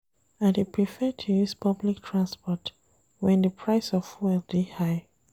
I dey prefer to use public transport wen di price of fuel dey high.